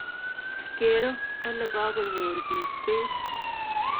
Kerei kole kakonyor piik peek .